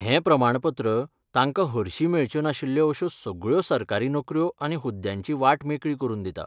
हें प्रमाणपत्र तांकां तांकां हरशी मेळच्यो नाशिल्ल्यो अश्यो सगळ्यो सरकारी नोकऱ्यो आनी हुद्द्यांची वाट मेकळी करून दिता.